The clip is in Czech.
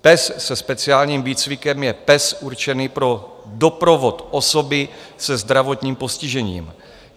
Pes se speciálním výcvikem je pes určený pro doprovod osoby se zdravotním postižením.